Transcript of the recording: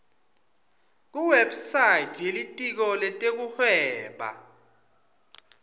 kuwebsite yelitiko letekuhweba